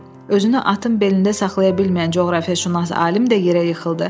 Özünü atın belində saxlaya bilməyən coğrafiyaşünas alim də yerə yıxıldı.